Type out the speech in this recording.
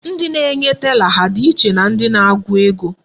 Ndị na-enye tela ha dị iche na ndị na-agụ ego?